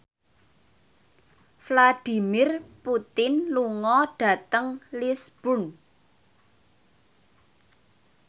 Vladimir Putin lunga dhateng Lisburn